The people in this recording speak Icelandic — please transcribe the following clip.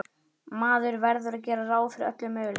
Maður verður að gera ráð fyrir öllum möguleikum.